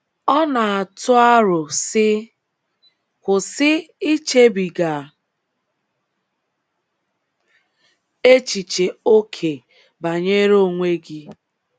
Ọ na - atụ aro, sị: “ Kwụsị ichebiga echiche ókè banyere onwe gị.